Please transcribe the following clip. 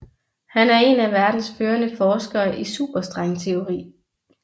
Han er en af verdens førende forskere i superstrengteori